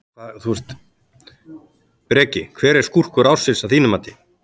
Breki: Hver er skúrkur ársins að þínu mati?